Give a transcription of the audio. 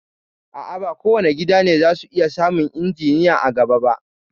A'a, ba kowane gida ne za su iya samun injiniya a gaba ba